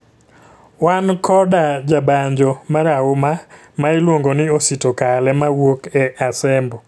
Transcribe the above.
Wan koda jabanjo marahuma ma iluongo ni Osito kale mawuok e Asembo